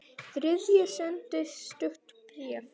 Þriðji sendi stutt bréf